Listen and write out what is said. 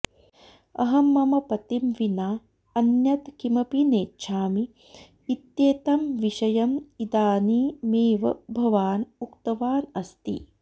अहं मम पतिं विना अन्यद् किमपि नेच्छामि इत्येतं विषयम् इदानीमेव भवान् उक्तवान् अस्ति